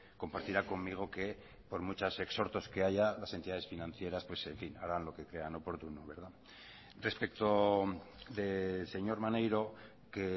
compartirá conmigo que por muchos exhortos que haya las entidades financieras harán lo que crean oportuno respecto del señor maneiro que